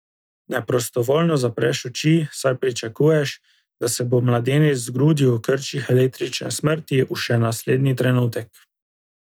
Neprostovoljno zapreš oči, saj pričakuješ, da se bo mladenič zgrudil v krčih električne smrti v še naslednji trenutek.